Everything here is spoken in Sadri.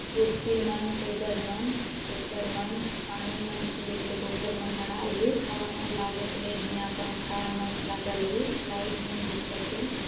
कुर्सी मन टेबल मन पेपर मन पानी मन पियेक ले बोतल मन मडाल है हवा मन लागे केल लिए यहाँ पंखा मन लागल है लाइट मन दिखत हे।